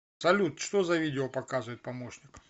салют что за видео показывает помощник